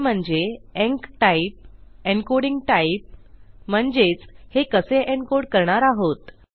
ते म्हणजे enctype encoding type म्हणजेच हे कसे एन्कोड करणार आहोत